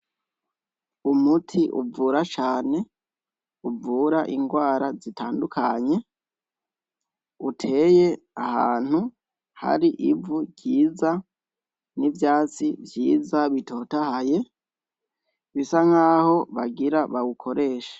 Umuti uvura cane, uvura ingwara zitandukanye, uteye ahantu hari ivu ryiza n' ivyatsi vyiza bitotahaye bisa nkaho bagira bawukoreshe.